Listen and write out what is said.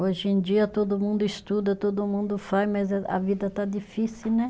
Hoje em dia todo mundo estuda, todo mundo faz, mas a a vida está difícil, né?